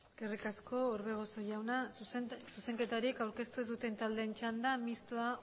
eskerrik asko orbegozo jauna zuzenketa horiek aurkeztu ez duten taldeen txanda mistoa